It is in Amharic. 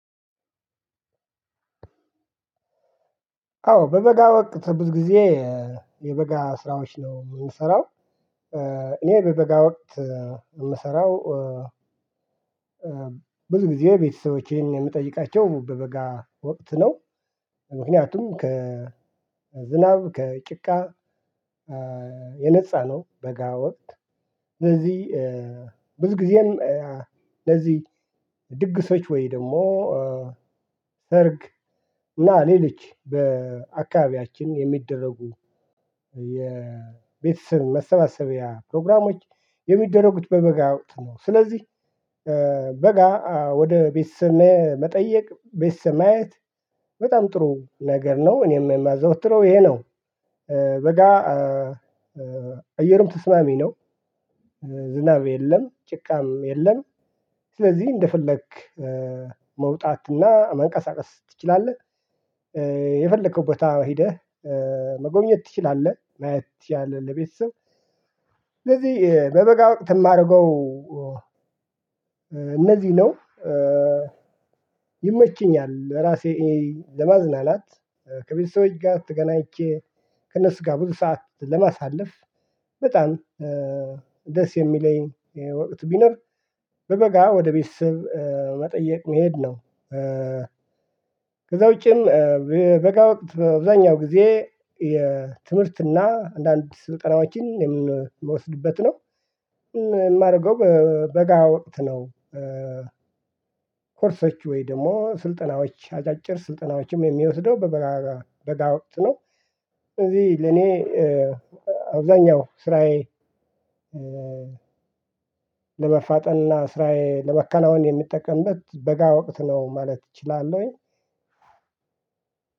አዎ በበጋ ወቅት ብዙ ጊዜ የበጋ ስራዎች ነው እምሰራው። እኔ በበጋ ወቅት እምሰራው ብዙ ጊዜ ቤተሰቦቼን እምጠይቃቸው በበጋ ወቅት ነው። ምክንያቱም ከዝናብ ከጭቃ የነፃ ነው በጋ ወቅት። እነዚህ ብዙ ጊዜንም ለዚህ ድግሶች ወይ ደግሞ ሰርግ እና ሌሊች በአካባቢያችን የሚደረጉ የቤተሰብ መሰባሰቢያ ፕሮግራሞች። የሚደረጉት በበጋ ወቅት ነው። ስለዚህ በጋ ወደ ቤተሰብ መጠየቅ ቤተሰብ ማየት በጣም ጥሩ ነገር ነው እኔም የማዘወትረው ይሄ ነው። በጋ አየሩም ተስማሚ ነው ዝናብ የለም ጭቃም የለም። ስለዚህ እንደፈለክ መውጣትና መንቀሳቀስ ትችላለህ። የፈለከው ቦታ ሂደህ መጎብኘት ትችላለህ ማየት ትችላለህ። ለቤተሰብ ስለዚህ በበጋ ወቅት እማደርገው እነዚህን ነው። ይመችኛል ራሴ ለማዝናናት ከቤተሰቦች ጋር ተገናኝቼ ከእነሱ ጋ ብዙ ሰዓት ለማሳለፍ በጣም ደስ የሚለኝ ወቅት ቢኖር በበጋ ወደ ቤተሰብ መጠየቅ መሄድ ነው። ከዛ ውጪም በበጋ ወቅት በአብዛኛው ጊዜ የትምህርትና አንዳንድ ስልጠናዎችን የምወስድበት ነው። የማደርገው በጋ ወቅት ነው። ኮርሶች ወይ ደሞ ስልጠናዎች አጫጭር ስልጠናዎችም የሚወስደው በጋ ወቅት ነው። ስለዚህ ለእኔ አብዛኛው ስራዬ ለመፋጠንና ስራዬ ለመከናወን የምጠቀምበት በጋ ወቅት ነው ማለት እችላለሁኝ።